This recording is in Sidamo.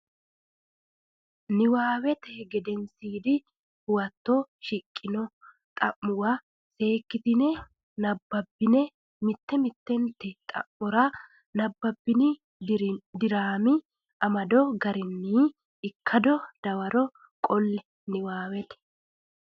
Nabbawate Gedensiidi Huwato shiqqino xa muwa seekkitine nabbabbine mitte mittente xa mora nabbabbini diraami amado garinni ikkado dawaro qolle Nabbawate.